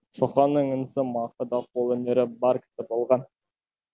шоқанның інісі мақы да қолөнері бар кісі болған